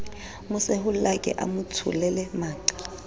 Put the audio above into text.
mo sehollake a motsholele maqa